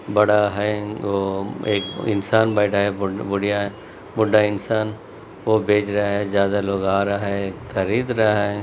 बड़ा हैअह एक इंसान बैठा है बूड़िया बुड्डा इन्सान वो भेज रहा है ज्यादा लोग आ रहा है खरीद रहा है।